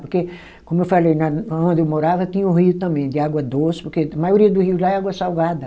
Porque, como eu falei né, onde eu morava tinha um rio também de água doce, porque a maioria do rio lá é água salgada.